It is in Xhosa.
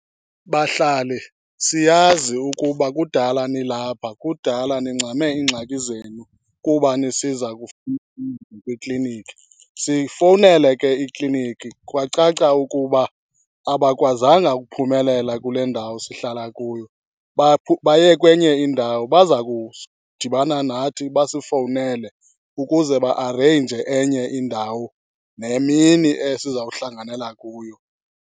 Bahlali, siyazi ukuba kudala nilapha, kudala, nincame iingxaki zenu kuba nisiza kwikliniki. Siyifowunele ke ikliniki kwacaca ukuba abakwazanga ukuphumelela kule ndawo sihlala kuyo, baye kwenye indawo. Baza kudibana nathi basifowunele ukuze ba-areyinje enye indawo nemini esizawuhlanganela kuyo.